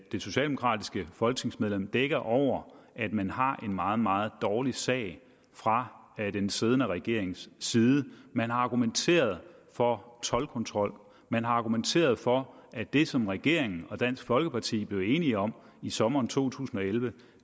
det socialdemokratiske folketingsmedlem dækker over at man har en meget meget dårlig sag fra den siddende regerings side man har argumenteret for toldkontrol man har argumenteret for at det som regering og dansk folkeparti blev enige om i sommeren to tusind og elleve